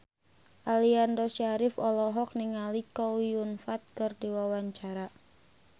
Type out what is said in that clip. Aliando Syarif olohok ningali Chow Yun Fat keur diwawancara